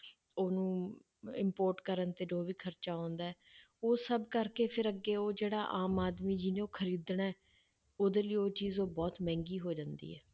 ਉਹਨੂੰ import ਕਰਨ ਤੇ ਜੋ ਵੀ ਖ਼ਰਚਾ ਆਉਂਦਾ ਹੈ, ਉਹ ਸਭ ਕਰਕੇ ਫਿਰ ਅੱਗੇ ਉਹ ਜਿਹੜਾ ਆਮ ਆਦਮੀ ਜਿਹਨੂੰ ਖ਼ਰੀਦਣਾ ਹੈ, ਉਹਦੇ ਲਈ ਉਹ ਚੀਜ਼ ਉਹ ਬਹੁਤ ਮਹਿੰਗੀ ਹੋ ਜਾਂਦੀ ਹੈ।